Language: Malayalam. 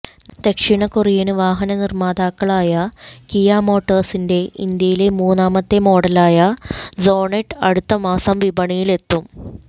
ദക്ഷിണ കൊറിയന് വാഹന നിര്മാതാക്കളായ കിയ മോട്ടോഴ്സിന്റെ ഇന്ത്യയിലെ മൂന്നാമത്തെ മോഡലായ സോണെറ്റ് അടുത്ത മാസം വിപണിയിലെത്തും